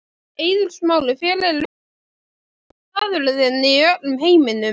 Eiður Smári Hver er uppáhaldsstaðurinn þinn í öllum heiminum?